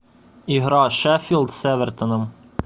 игра шеффилд с эвертоном